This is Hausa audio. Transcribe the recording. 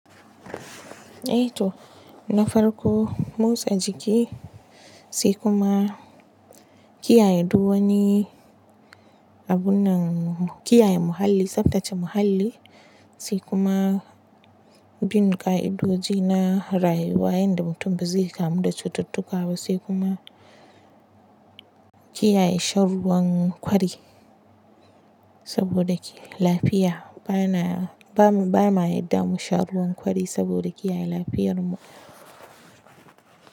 Eh to na farko motsa jiki sai kuma kiyaye duk wani abun nan kiyaye muhalli, tsaftace muhalli sai kuma bin ƙa'idodi na rayuwa yanda mutum bazai kamu da cututtuka ba sai kuma kiyaye shan ruwan kwari saboda lafiya bana ba ma yadda mu sha ruwan kwari saboda kiyaye lafiyar mu.